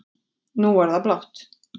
Nú er það blátt